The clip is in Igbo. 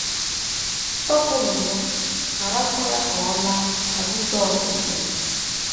Tọpụnụ ya, gharakwa ya ka ọ laa, ka Jisọs sịrị.